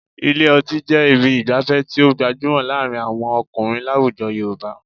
Ilé ọtí jẹ́ ibi ìgbafẹ́ tí ó gbajúmọ̀ láàrin àwọn ọkùnrin láwujọ Yorùbá